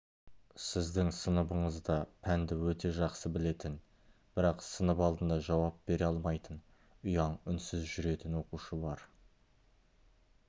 сіздің сыныбыңызда пәнді өте жақсы білетін бірақ сынып алдында жауап бере алмайтын ұяң үнсіз жүретін оқушы бар